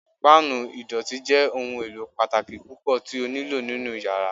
Pan idọti jẹ ohun elo pataki pupọ ti o nilo ninu yara yara